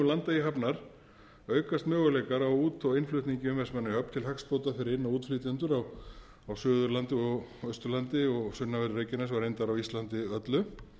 landeyjahafnar aukast möguleikar á út og innflutningi um vestmannaeyjahöfn til hagsbóta fyrir inn og útflytjendur á suður og austurlandi og sunnanverðu reykjanesi og reyndar á íslandi öllu